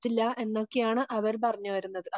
പറ്റില്ല എന്നൊക്കെയാണ് അവർ പറഞ്ഞു വരുന്നത്.